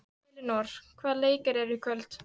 Elínór, hvaða leikir eru í kvöld?